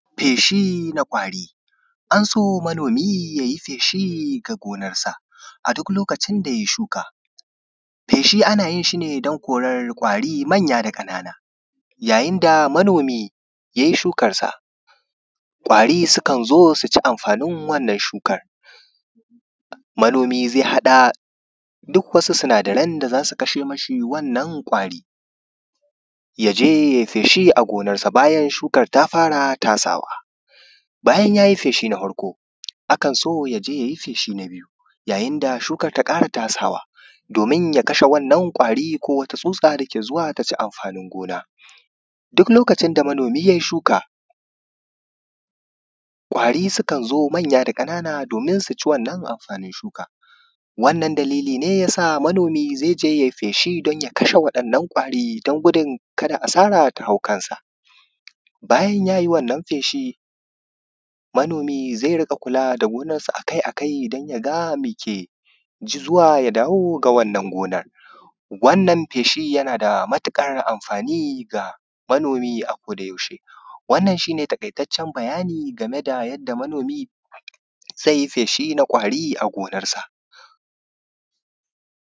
Feshii na kwaari, an so manomi yayi feʃ\shi ga gonarsa a duk lokacin da yayi shuka, feshi ana yin shi ne don korar ƙwari manya da ƙanana yayin da manomi yayi shukarsa ƙwari sukan zo su ci amfaanin wannan shukar, manomi zai haɗa duk wasu sinadaran da za su kashe mashi wannan ƙwaari ya je yayi feshi a gonarsa bayan shukar ta fara tasawa. Bayan yayi feshi na farko akan so ya je yayi feshi na biyu yayin da shukar ta ƙara tasawa doomin ya kashe wannan ƙwaari ko wata tsutsa dake zuwa ta ci amfaanin gona. Duk lokacin da manomi yayi shuka ƙwari sukan zo manyaa da ƙanana doomin su ci wannan amfaanin shuka wannan dalili ne ya sa manomi zai je yayi feshi don ya kashe waɗannan ƙwari don gudun ka da asara ta hau kansa bayan yayi wannan sh manomi zai rinƙa kula da gonarsa akai-akai don ya ga me ke zuwa ya dawo gonar wannan feshi yana da matuƙar amfaani ga manomi a ko yaushe wannan shi ne taƙaitaccen bayani game da yadda manomi zai yi feshi na ƙwaari a gonarsa